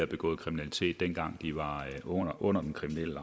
begået kriminalitet dengang de var under den kriminelle